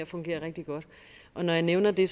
fungerer rigtig godt når jeg nævner det